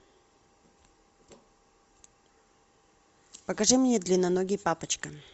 покажи мне длинноногий папочка